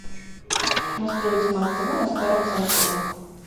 настроить смарт тв на старом самсунг